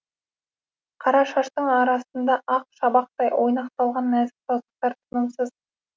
қара шаштың арасында ақ шабақтай ойнақталған нәзік саусақтар тынымсыз